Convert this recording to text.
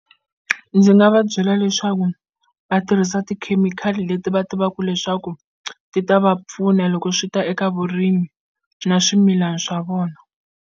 Ndzi nga va byela leswaku va tirhisa tikhemikhali leti va tivaku leswaku ti ta va pfuna loko swi ta eka vurimi na swimilani swa vona.